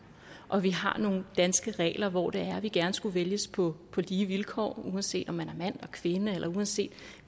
og vi har nogle danske regler hvor det er at vi gerne skulle vælges på lige vilkår uanset om man er mand kvinde eller uanset